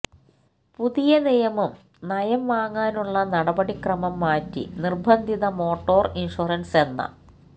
പുതിയ നിയമം നയം വാങ്ങാനുള്ള നടപടിക്രമം മാറ്റി നിർബന്ധിത മോട്ടോർ ഇൻഷ്വറൻസ് എന്ന